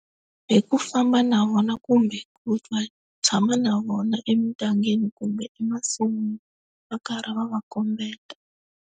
Hi ku famba na vona kumbe ku ta tshama na vona emindyangwini kumbe emasin'wini va karhi va va kombeta.